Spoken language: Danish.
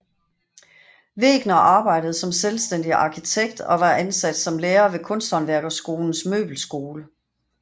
Wegner arbejdede som selvstændig arkitekt og var ansat som lærer ved Kunsthåndværkerskolens Møbelskole